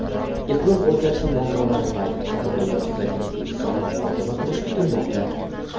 iqlim o‘zgarishi muammolari va ikki tomonlama strategik ittifoqni muhokama qilishi kutilmoqda.